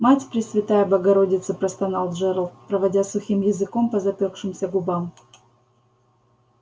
мать пресвятая богородица простонал джералд проводя сухим языком по запёкшимся губам